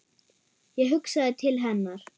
Ég hugsaði til hennar.